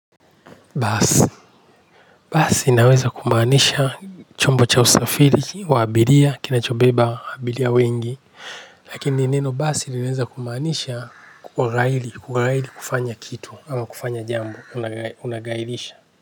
Basi. Basi inaweza kumaanisha chombo cha usafiri wa abiria kinachobeba abiria wengi. Lakini neno basi linaweza kumaanisha kughairi, kughairi kufanya kitu ama kufanya jambo unaghairisha.